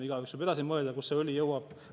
Igaüks võib edasi mõelda, kuhu see õli jõuab.